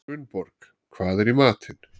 Gunnborg, hvað er í matinn?